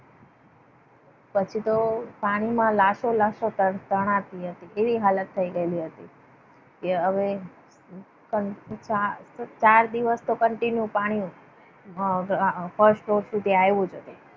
પછી પાણીમાં તો પછી તો પાણીમાં લાસો લાસો તણાતી હતી. એવી હાલત થઈ ગયેલી હતી. કે હવે ચાર દિવસ તો continue પાણી હતું. અમ first floor સુધી આવી જતી.